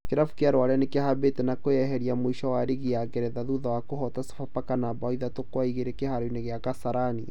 Kirabu gia Rware Nĩkĩhambĩte na kwĩyeheria mũico wa rigi ya ngeretha thutha wa kũhoota Sofapaka na mbaũ ithatũ kwa igĩrĩ kĩharo-inĩ gĩa Kasarani